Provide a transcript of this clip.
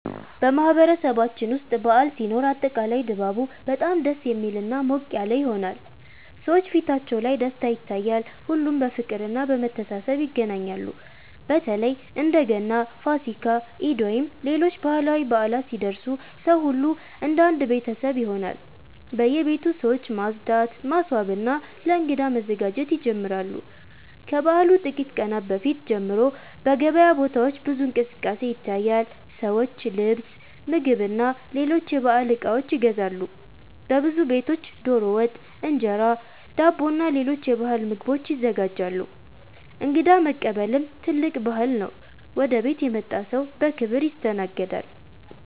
በማህበረሰባችን ውስጥ በዓል ሲኖር አጠቃላይ ድባቡ በጣም ደስ የሚልና ሞቅ ያለ ይሆናል። ሰዎች ፊታቸው ላይ ደስታ ይታያል፣ ሁሉም በፍቅርና በመተሳሰብ ይገናኛሉ። በተለይ እንደ ገና፣ ፋሲካ፣ ኢድ ወይም ሌሎች ባህላዊ በዓላት ሲደርሱ ሰው ሁሉ እንደ አንድ ቤተሰብ ይሆናል። በየቤቱ ሰዎች ማጽዳት፣ ማስዋብና ለእንግዳ መዘጋጀት ይጀምራሉ። ከበዓሉ ጥቂት ቀናት በፊት ጀምሮ በገበያ ቦታዎች ብዙ እንቅስቃሴ ይታያል፤ ሰዎች ልብስ፣ ምግብና ሌሎች የበዓል እቃዎች ይገዛሉ። በብዙ ቤቶች ዶሮ ወጥ፣ እንጀራ፣ ዳቦና ሌሎች የባህል ምግቦች ይዘጋጃሉ። እንግዳ መቀበልም ትልቅ ባህል ነው፤ ወደ ቤት የመጣ ሰው በክብር ይስተናገዳል።